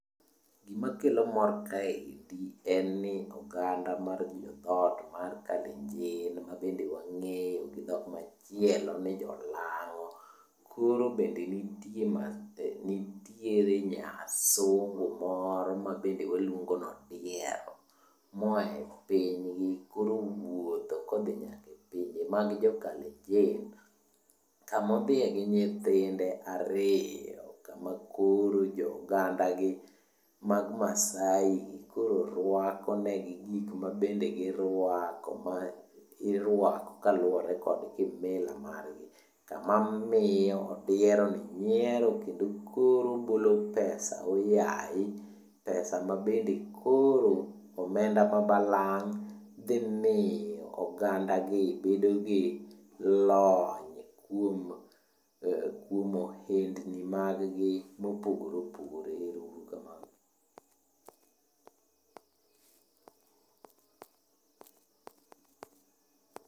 Gimakelo mor kaendi en ni oganda mar dhot mar Kalenjin mabende wang'eyo gi dhok machielo ni jolang'o. Koro bende nitie nitiere nyasungu moro mabende waluongo nodiero moa e pinygi koro owuotho modhi nyaka e pinje mag jokalenjin, kamo dhiye gi nyithinde ariyo kama koro jo oganda gi mag Maasai koro rwakonegi gik mabende girwako. Ma irwako kaluwore kod kimila margi. Kama miyo odieroni nyiero kendo koro ogolo pesa ooyaye. Pesa ma bende koro ,omenda mabalang'. Dhimiyo ogandagi bedo gi lony kuom ohendni maggi mopogore opogore. Ero uru kamano.